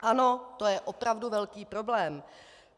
Ano, to je opravdu velký problém.